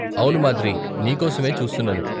అవును మాద్రి , నీకోసమే చూస్తున్నాను.